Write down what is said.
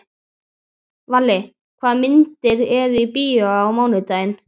Valli, hvaða myndir eru í bíó á mánudaginn?